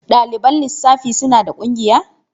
Ɗaliban lissafi suna da ƙungiya?